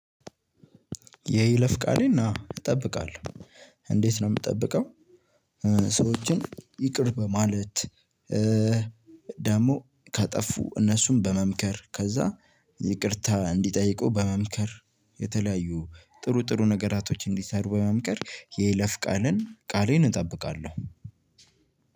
የይለፍ ቃሌን እጠብቃለሁ። እንዴት ነው የምጠብቀው? ሰዎችን ይቅር በማለት። ደግሞ ካጠፉ እነሱን በመምከር ከዛ ይቅርታ እንዲጠይቁ በመምከር። የተለያዩ ጥሩ ጥሩ ነገራቶች እንዲሰሩ በመምከር የይለፍ ቃልን ቃሌን እጠብቃለሁ።